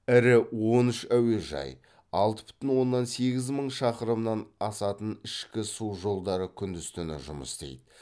ірі он үш әуежай алты бүтін оннан сегіз мың шақырымнан асатын ішкі су жолдары күндіз түні жұмыс істейді